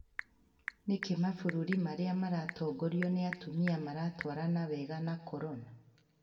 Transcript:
Nĩkĩĩ mabururi arĩa maratongorwa nĩ atumia iratwarana wega na corona?